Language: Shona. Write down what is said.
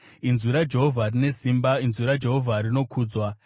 Inzwi raJehovha rine simba; inzwi raJehovha rinokudzwa.